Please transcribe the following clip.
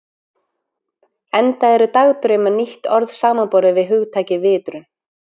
Enda eru dagdraumar nýtt orð samanborið við hugtakið vitrun.